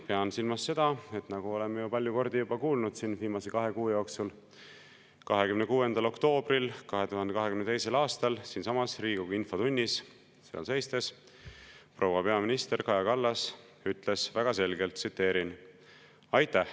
Pean silmas seda, et nagu oleme palju kordi juba kuulnud siin viimase kahe kuu jooksul, 26. oktoobril 2022. aastal siinsamas Riigikogu infotunnis seal seistes proua peaminister Kaja Kallas ütles väga selgelt: "Aitäh!